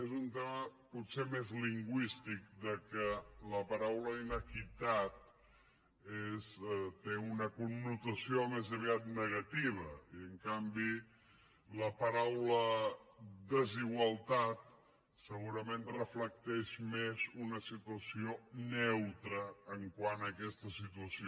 és un tema potser més lingüístic que la paraula inequitat té una connotació més aviat negativa i en canvi la paraula desigualtat segurament reflecteix més una situació neutra quant a aquesta situació